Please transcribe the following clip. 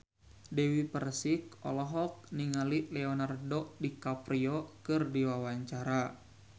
Dewi Persik olohok ningali Leonardo DiCaprio keur diwawancara